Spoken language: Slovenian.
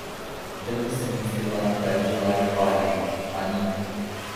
Vedno sem mislila, da je to larifari, a ni.